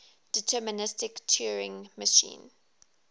deterministic turing machine